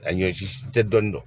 A ɲɔ si tɛ dɔni dɔn